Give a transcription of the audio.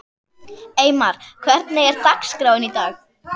Eymar, hvernig er dagskráin í dag?